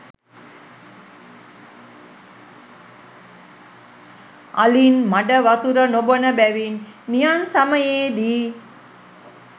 අලින් මඩවතුර නොබොන බැවින් නියං සමයේ දී